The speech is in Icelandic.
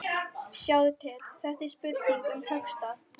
Sjáðu til, þetta er spurning um höggstað.